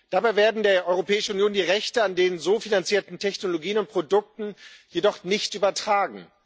Dabei werden der Europäischen Union die Rechte an den so finanzierten Technologien und Produkten jedoch nicht übertragen.